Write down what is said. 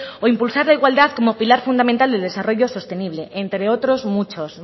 o impulsar la igualdad como pilar fundamental del desarrollo sostenible entre otros muchos